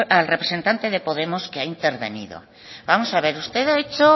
al representante de podemos que ha intervenido vamos a ver usted ha hecho